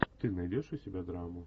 ты найдешь у себя драму